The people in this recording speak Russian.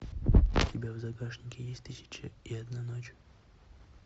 у тебя в загашнике есть тысяча и одна ночь